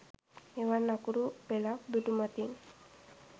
එවන් අකුරු පෙළක් දුටුමතින්